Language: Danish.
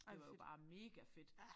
Og det var jo bare megafedt